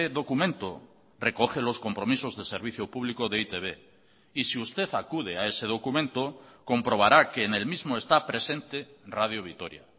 documento recoge los compromisos de servicio público de e i te be y si usted acude a ese documento comprobará que en el mismo está presente radio vitoria